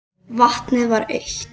Vatnið var autt.